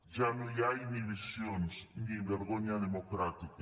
ja no hi ha inhibicions ni vergonya democràtica